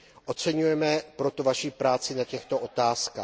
Oceňujeme proto vaši práci na těchto otázkách.